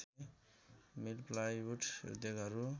मिल plywood उद्योगहरू